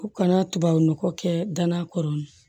U kana tubabu nɔgɔ kɛ danna kɔrɔ